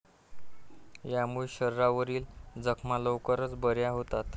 यामुळे शरीरावरील जखमा लवकर बऱ्या होतात.